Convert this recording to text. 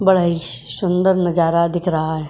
बड़ा ही सुंदर नजारा दिख रहा है।